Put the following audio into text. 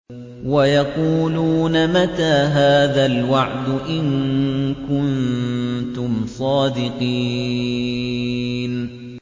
وَيَقُولُونَ مَتَىٰ هَٰذَا الْوَعْدُ إِن كُنتُمْ صَادِقِينَ